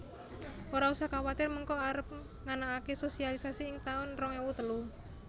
Ora usah kuatir mengko arep nganakake sosialisasi ing taun rong ewu telu